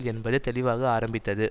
என்பது தெளிவாக ஆரம்பித்தது